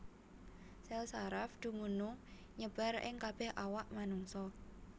Sèl saraf dumunung nyebar ing kabèh awak manungsa